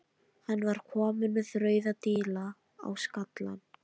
Hann var kominn með rauða díla á skallann.